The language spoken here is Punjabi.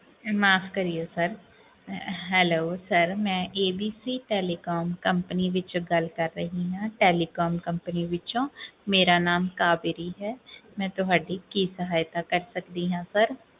ਮਾਫ਼ ਕਰਿਓ sir hello sir ਮੈਂ ABC telecom company ਵਿੱਚੋਂ ਗੱਲ ਕਰ ਰਹੀ ਹਾਂ telecom company ਵਿੱਚੋਂ ਮੇਰਾ ਨਾਮ ਕਾਬੇਰੀ ਹੈ ਮੈਂ ਤੁਹਾਡੀ ਕੀ ਸਹਾਇਤਾ ਕਰ ਸਕਦੀ ਹਾਂ sir